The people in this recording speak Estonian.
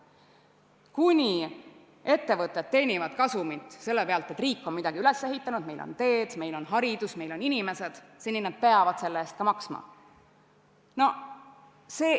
Kuni ettevõtted teenivad kasumit tänu sellele, et riik on midagi üles ehitanud, et meil on teed, et meil on haridus, et meil on inimesed, nad peavad selle eest ka maksma.